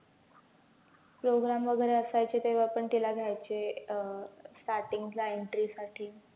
program वैगरे असायचे तेव्हा पण तीला घ्यायचे अं starting ला entry साठी